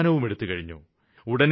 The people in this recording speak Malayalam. തീരുമാനവും എടുത്തുകഴിഞ്ഞു